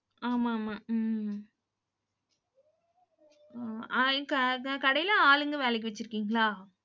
ஆமா, ஆமா. உம் அஹ் க~ கடையில ஆளுங்க வேலைக்கு வச்சிருக்கீங்களா?